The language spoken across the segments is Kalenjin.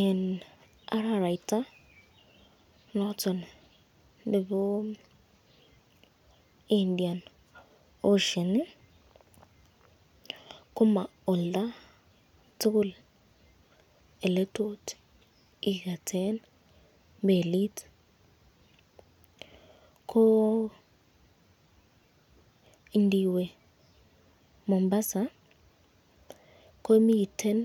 Eng araraita noton nebo indian ocean ,koma olda tukul eletot iketen melit, ko indiwe Mombasa , komiten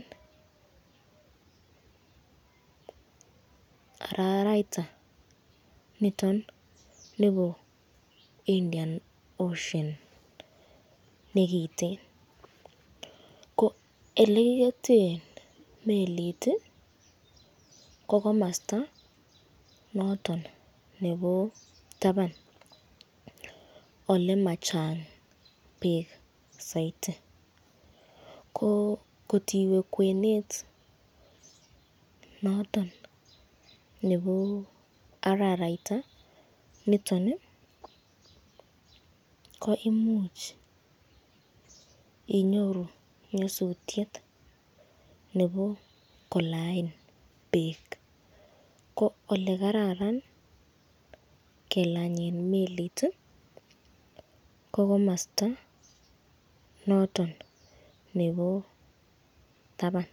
araraita niton nebo Indian ocean nemiten ,ko elekiketen melit ko komasta nebo taban olemachang bek saiti, ko kot iwe kwenet noton nebo araraita nitoni ko imuch inyoru nyasutyet nebo kolain bek, ko elekararan kelanyen melit ko komasta noton nebo taban.